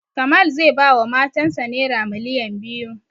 Kamal zai ba wa matan sa naira miliyan biyu